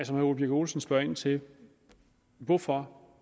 herre ole birk olesen spørger ind til hvorfor